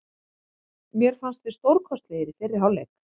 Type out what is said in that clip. Mér fannst við stórkostlegir í fyrri hálfleik.